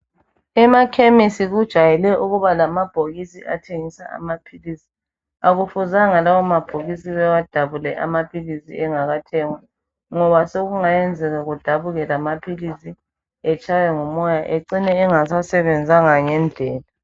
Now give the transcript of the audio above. Emakhemesi kujayele ukuba lamabhokisi athengisa amaphilisi. Akufuzanga lawo amabhokisi bewadabule amaphilisi engakathengwa ngoba sekungayenzeka kudabuke lamaphilisi etshaywe ngumoya acine engasasebenzanga ngendlela.